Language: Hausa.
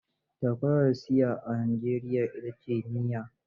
Takwarar CIA a Najeriya ita ce NIA.